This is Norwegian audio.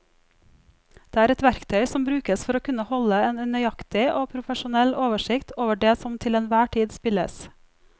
Det er et verktøy som brukes for å kunne holde en nøyaktig og profesjonell oversikt over det som til enhver tid spilles.